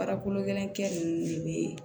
Baarakolo gɛlɛnkɛ nunnu de be